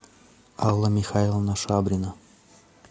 алла михайловна шабрина